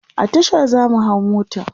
a Tasha zamu hau mota